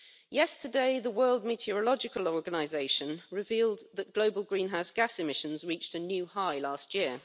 Yesterday, the World Meteorological Organization revealed that global greenhouse gas emissions reached a new high last year.